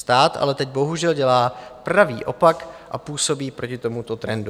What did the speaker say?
Stát ale teď bohužel dělá pravý opak a působí proti tomuto trendu."